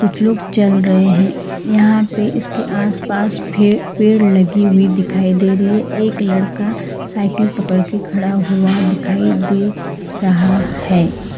लोग चल रहे हैं यहां पे इसके आसपास भी पेड़ लगी हुई दिखाई दे रही है एक लड़का साइकिल पकड़ के खड़ा हुआ दिखाई दे रहा है।